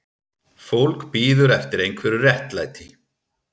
Fólk bíður eftir einhverju réttlæti